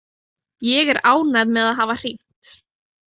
Ég er ánægð með að hafa hringt.